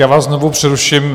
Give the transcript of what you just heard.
Já vás znovu přeruším.